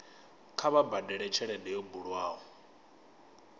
kha vha badele tshelede yo bulwaho